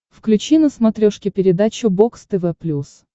включи на смотрешке передачу бокс тв плюс